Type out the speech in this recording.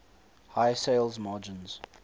high sales margins